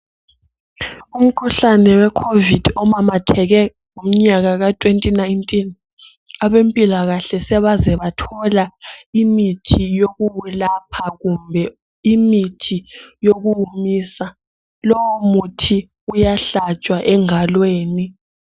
Umkhuhlane we covid omamatheke ngomnyaka ka 2019 abempilakahle sebeze bathola imithi yokukuwulapha kumbe imithi yokuwumisa lowo muthi uyahlatshwa engalweni.